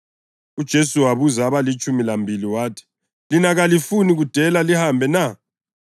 UJesu wabuza abalitshumi lambili wathi, “Lina kalifuni kudela lihambe na?”